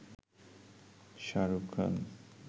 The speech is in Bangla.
শাহরুখ খান